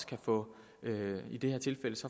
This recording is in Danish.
kan få